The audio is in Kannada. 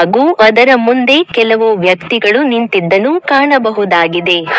ಹಾಗೂ ಅದರ ಮುಂದೆ ಕೆಲವು ವ್ಯಕ್ತಿಗಳು ನಿಂತಿದ್ದನ್ನು ಕಾಣಬಹುದಾಗಿದೆ.